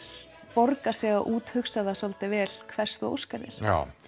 borgar sig að úthugsa það svolítið vel hvers þú óskar þér